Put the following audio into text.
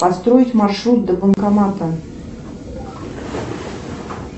построить маршрут до банкомата